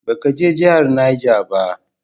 Ba ka je jahar Niger ba?